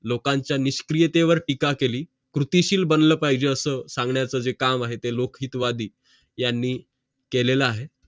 लोकांचा मिसक्रियतेवर टीका केली कृत्रिशील बनलं पाहिजे असं सांगण्याचं जे काम आहे ते लोकहितवादी यांनी केलेलं आहे